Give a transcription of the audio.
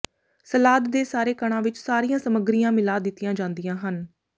salad ਦੇ ਸਾਰੇ ਕਣਾਂ ਵਿੱਚ ਸਾਰੀਆਂ ਸਾਮੱਗਰੀਆਂ ਮਿਲਾ ਦਿੱਤੀਆਂ ਜਾਂਦੀਆਂ ਹਨ